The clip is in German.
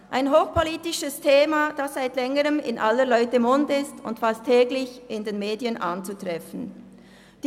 Das ist ein hochpolitisches Thema, das seit Längerem in aller Leute Mund und fast täglich in den Medien anzutreffen ist.